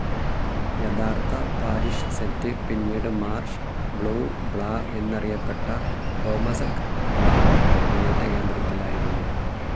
യഥാർത്ഥ parish set, പിന്നീട് marsh ബ്യൂ ബ്ലാഹ്‌ എന്നറിയപ്പെട്ട കോമസക് ബ്ല കുടിയേറ്റ കേന്ദ്രത്തിലായിരുന്നു.